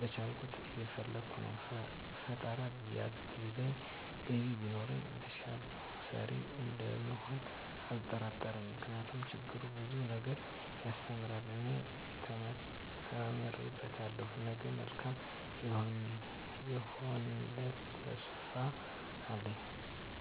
በቻልኩት እየፈለከ ነው ፈጣራ ቢያግዘኝ ገቢ ቢኖረኝ የተሸሸልኩ ሰሪተኛ እንደምሆን አልጠራጠርም ምክንያቱም ችግር ብዙ ነገር ያሰተምራል እኔ ተምሬበታለሁ ነገ መልካም ይሆነልተሰፊፋ አለኝ።